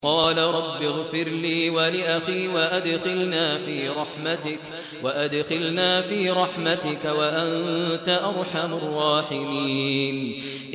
قَالَ رَبِّ اغْفِرْ لِي وَلِأَخِي وَأَدْخِلْنَا فِي رَحْمَتِكَ ۖ وَأَنتَ أَرْحَمُ الرَّاحِمِينَ